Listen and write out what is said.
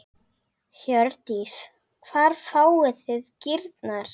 Hjördís: Hvar fáið þið kýrnar?